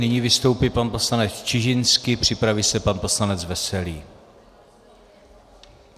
Nyní vystoupí pan poslanec Čižinský, připraví se pan poslanec Veselý.